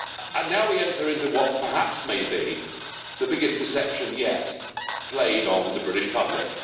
And now we enter into what perhaps may be the biggest deception yet, played on the British public.